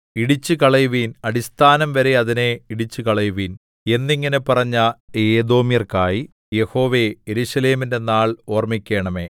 ഇടിച്ചുകളയുവിൻ അടിസ്ഥാനംവരെ അതിനെ ഇടിച്ചുകളയുവിൻ എന്നിങ്ങനെ പറഞ്ഞ ഏദോമ്യർക്കായി യഹോവേ യെരൂശലേമിന്റെ നാൾ ഓർമ്മിക്കണമേ